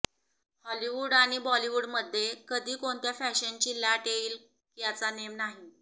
Hollywood आणि बॉलिवूडमध्ये कधी कोणत्या फॅशनची लाट येईल याचा नेम नाही